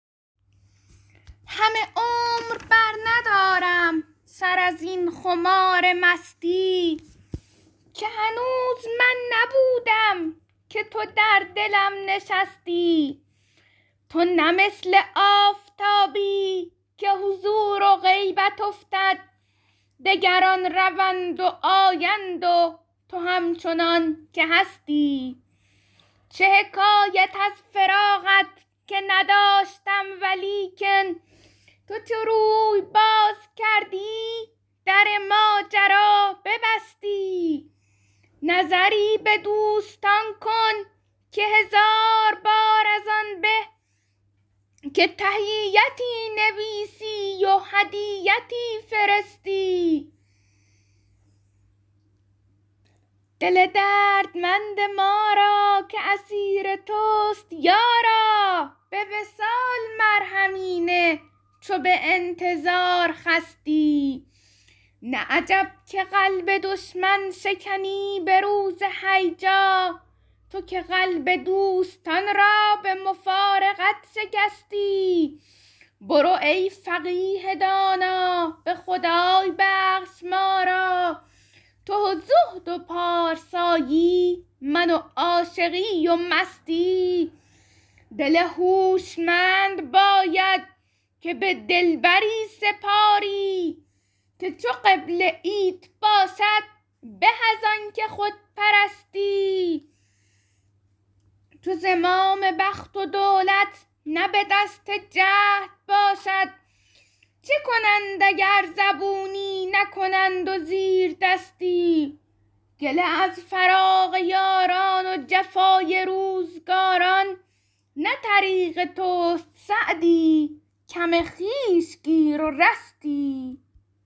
همه عمر برندارم سر از این خمار مستی که هنوز من نبودم که تو در دلم نشستی تو نه مثل آفتابی که حضور و غیبت افتد دگران روند و آیند و تو همچنان که هستی چه حکایت از فراقت که نداشتم ولیکن تو چو روی باز کردی در ماجرا ببستی نظری به دوستان کن که هزار بار از آن به که تحیتی نویسی و هدیتی فرستی دل دردمند ما را که اسیر توست یارا به وصال مرهمی نه چو به انتظار خستی نه عجب که قلب دشمن شکنی به روز هیجا تو که قلب دوستان را به مفارقت شکستی برو ای فقیه دانا به خدای بخش ما را تو و زهد و پارسایی من و عاشقی و مستی دل هوشمند باید که به دلبری سپاری که چو قبله ایت باشد به از آن که خود پرستی چو زمام بخت و دولت نه به دست جهد باشد چه کنند اگر زبونی نکنند و زیردستی گله از فراق یاران و جفای روزگاران نه طریق توست سعدی کم خویش گیر و رستی